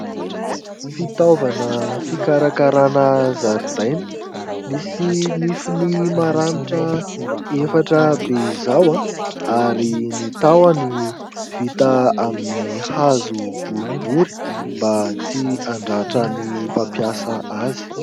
Fitaovana fikarakarana zaridaina. Misy nifiny maranitra efatra be izao ary ny tahony vita amin'ny hazo boribory mba tsy handratra ny mpampiasa azy.